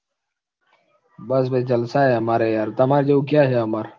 બસ ભાઈ જલસા અમારે યાર તમાર જેવું ક્યાં છે અમારે